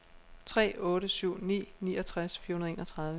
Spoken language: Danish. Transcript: tre otte syv ni niogtres fire hundrede og enogtredive